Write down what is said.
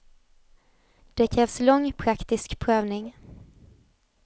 Det krävs lång, praktisk prövning.